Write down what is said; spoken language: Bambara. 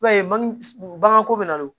I b'a ye baganko bɛ na don